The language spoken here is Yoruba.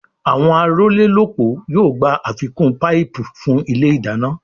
Àwọn arólélópòó yóò gbà àfikún paipu fún ilé ìdáná